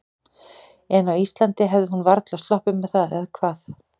En á Íslandi hefði hún varla sloppið með það, eða hvað?